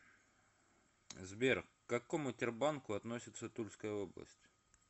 сбер к какому тербанку относится тульская область